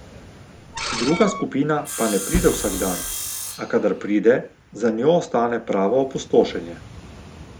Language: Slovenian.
Druga skupina pa ne pride vsak dan, a kadar pride, za njo ostane pravo opustošenje.